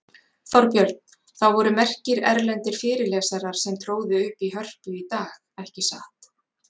Þorbjörn, það voru merkir erlendir fyrirlesarar sem tróðu upp í Hörpu í dag, ekki satt?